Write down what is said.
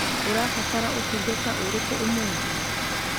Ũrabatara ũtungata ũrĩkũ ũmũthĩ?